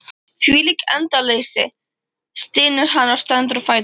Þvílík endaleysa, stynur hann og stendur á fætur.